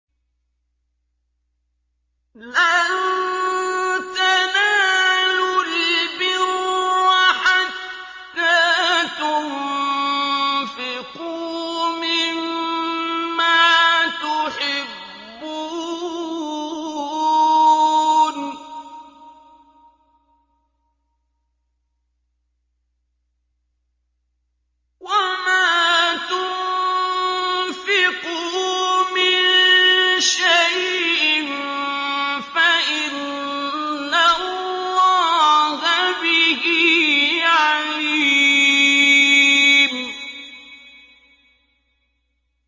لَن تَنَالُوا الْبِرَّ حَتَّىٰ تُنفِقُوا مِمَّا تُحِبُّونَ ۚ وَمَا تُنفِقُوا مِن شَيْءٍ فَإِنَّ اللَّهَ بِهِ عَلِيمٌ